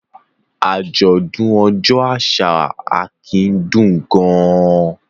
Àjọ̀dún ọjọ́ àṣà Akin dùn gan-an.